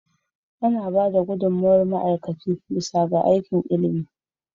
Ana ba da gudummawar ma'aikaci bisa ga aikin ilimi.